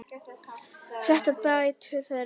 Dætur þeirra